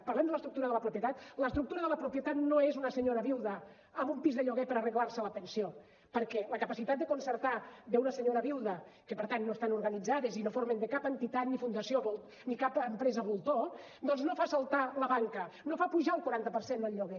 parlem de l’estructura de la propietat l’estructura de la propietat no és una senyora viuda amb un pis de lloguer per arreglar se la pensió perquè la capacitat de concertar d’una senyora viuda que per tant no estan organitzades i no formen part de cap entitat ni fundació ni de cap empresa voltor doncs no fa saltar la banca no fa pujar el quaranta per cent el lloguer